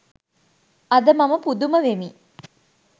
අද මම පුදුම වෙමි